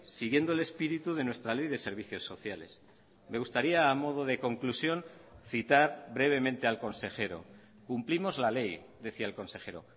siguiendo el espíritu de nuestra ley de servicios sociales me gustaría a modo de conclusión citar brevemente al consejero cumplimos la ley decía el consejero